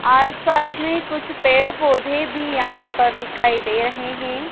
आसपास में कुछ पेड़ पौधे भी यहां पर दिखाई दे रहे हैं।